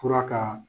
Fura ka